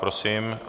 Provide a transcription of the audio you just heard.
Prosím.